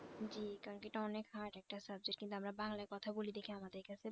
জী কারণ কি এটা অনেক hard একটা subject কিন্তু আমরা বাংলায় কথা বলি দেখে আমাদের কাছে